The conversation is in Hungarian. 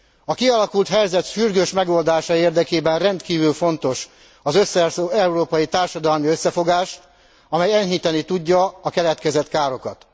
A kialakult helyzet sürgős megoldása érdekében rendkívül fontos az európai társadalmi összefogás, amely enyhíteni tudja a keletkezett károkat.